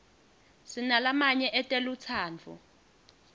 sinalamanye etelutsandvo